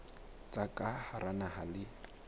tsa ka hara naha le